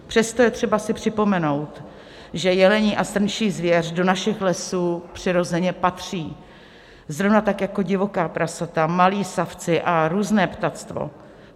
Přesto je třeba si připomenout, že jelení a srnčí zvěř do našich lesů přirozeně patří, zrovna tak jako divoká prasata, malí savci a různé ptactvo.